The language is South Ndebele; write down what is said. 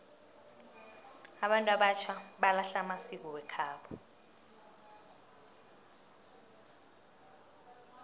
abantu abatjha balahla amasiko wekhabo